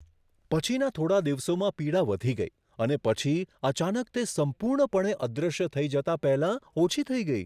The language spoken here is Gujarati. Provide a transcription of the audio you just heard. પછીના થોડા દિવસોમાં પીડા વધી ગઈ અને પછી અચાનક તે સંપૂર્ણપણે અદૃશ્ય થઈ જતાં પહેલાં ઓછી થઈ ગઈ.